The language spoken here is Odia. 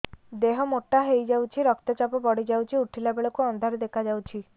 ଦେହ ମୋଟା ହେଇଯାଉଛି ରକ୍ତ ଚାପ ବଢ଼ି ଯାଉଛି ଉଠିଲା ବେଳକୁ ଅନ୍ଧାର ଦେଖା ଯାଉଛି